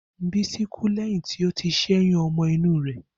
Bisi kú lẹ́yìn tí ó ti ṣẹ́yún ọmọ inú rẹ̀.